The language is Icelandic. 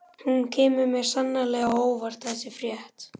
Hún kemur mér sannarlega á óvart þessi frétt.